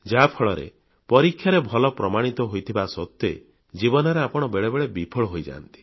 ଯାହା ଫଳରେ ପରୀକ୍ଷାରେ ଭଲ ପ୍ରମାଣିତ ହୋଇଥିବା ସତ୍ତ୍ୱେ ଜୀବନରେ ଆପଣ ବେଳେବେଳେ ବିଫଳ ହୋଇଯାଆନ୍ତି